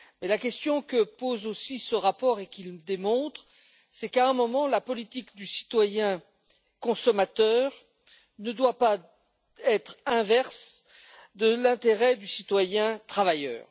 La question que pose aussi ce rapport et ce qu'il démontre, c'est qu'à un moment, la politique du citoyen consommateur ne doit pas être contraire à l'intérêt du citoyen travailleur.